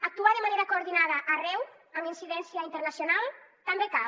actuar de manera coordinada arreu amb incidència internacional també cal